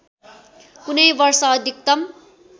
कुनै वर्ष अधिकतम